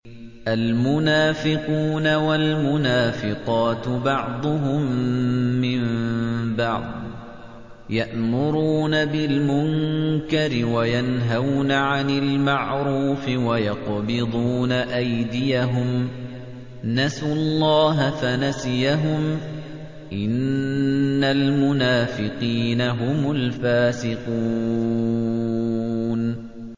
الْمُنَافِقُونَ وَالْمُنَافِقَاتُ بَعْضُهُم مِّن بَعْضٍ ۚ يَأْمُرُونَ بِالْمُنكَرِ وَيَنْهَوْنَ عَنِ الْمَعْرُوفِ وَيَقْبِضُونَ أَيْدِيَهُمْ ۚ نَسُوا اللَّهَ فَنَسِيَهُمْ ۗ إِنَّ الْمُنَافِقِينَ هُمُ الْفَاسِقُونَ